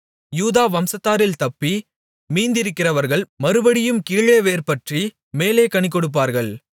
யூதா வம்சத்தாரில் தப்பி மீந்திருக்கிறவர்கள் மறுபடியும் கீழே வேர்பற்றி மேலே கனிகொடுப்பார்கள்